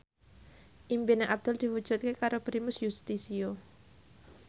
impine Abdul diwujudke karo Primus Yustisio